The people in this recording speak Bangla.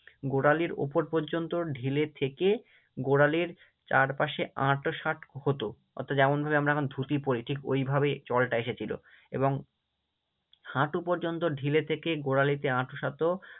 গোড়ালির ওপর পর্যন্ত ঢিলে থেকে গোড়ালির চারপাশে আঁটো-শাটো হতো অর্থাৎ যেমনভাবে আমরা এখন ধুতি পড়ি ঠিক ঐভাবেই চলটা এসেছিলো এবং হাঁটু পর্যন্ত ঢিলে থেকে গোড়ালিতে আঁটো-শাটো